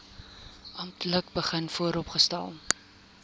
amptelik begin vooropstel